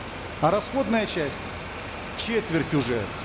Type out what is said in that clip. а расходная часть четверть уже